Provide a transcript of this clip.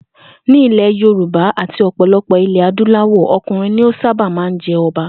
Ní ilè̩ Yorùbá àti ò̩pò̩lo̩pò̩ ilè̩ adúláwò̩, o̩kùnrin ni ó sábà máa ń je̩ o̩ba